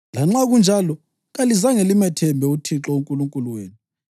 Lanxa kunjalo, kalizange limethembe uThixo uNkulunkulu wenu,